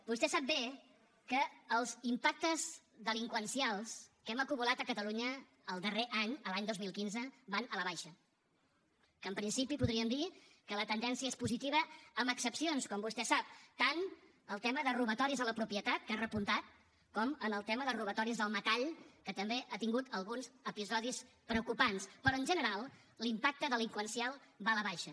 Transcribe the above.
vostè sap bé que els impactes delinqüencials que hem acumulat a catalunya el darrer any l’any dos mil quinze van a la baixa que en principi podríem dir que la tendència és positiva amb excepcions com vostè sap tant en el tema de robatoris a la propietat que ha repuntat com en el tema de robatoris al metall que també ha tingut alguns episodis preocupants però en general l’impacte delinqüencial va a la baixa